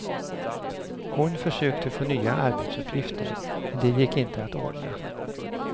Hon försökte få nya arbetsuppgifter, men det gick inte att ordna.